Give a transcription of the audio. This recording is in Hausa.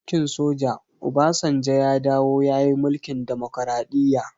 Bayan mulkin soja, obasanjo ya dawo ya yi mulkin demokraɗiya